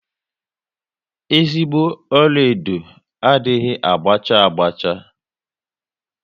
Ezigbo ọlaedo adịghị ágbá cha agba cha